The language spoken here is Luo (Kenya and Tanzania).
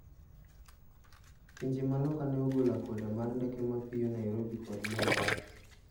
Pinje ma loka ne ogolo akwede mar ndeke mapio Nairobi kod Mombasa.